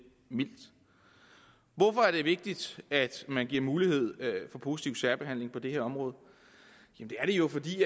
mildt hvorfor er det vigtigt at man giver mulighed for positiv særbehandling på det her område det er det jo fordi